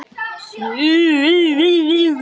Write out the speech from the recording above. Böðvar Bragi Pálsson